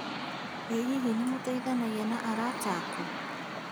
Ĩ hihi nĩmũteithanagia na arata aku?